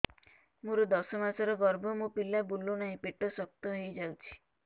ମୋର ଦଶ ମାସର ଗର୍ଭ ମୋ ପିଲା ବୁଲୁ ନାହିଁ ପେଟ ଶକ୍ତ ହେଇଯାଉଛି